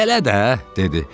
Bələ də, dedi.